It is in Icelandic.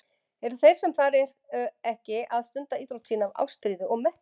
Eru þeir sem þar eru ekki að stunda íþrótt sína af ástríðu og metnaði?